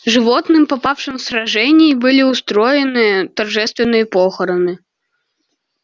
животным попавшим в сражении были устроены торжественные похороны